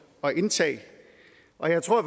at indtage og jeg tror